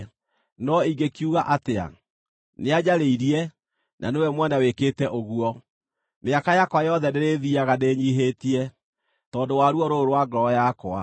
No ingĩkiuga atĩa? Nĩanjarĩirie, na nĩwe mwene wĩkĩte ũguo. Mĩaka yakwa yothe ndĩrĩthiiaga ndĩnyiihĩtie, tondũ wa ruo rũrũ rwa ngoro yakwa.